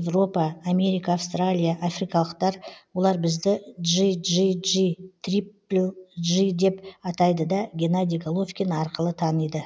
европа америка австралия африкалықтар олар бізді джи джи джи трипл джи деп атайды да генади головкин арқылы таниды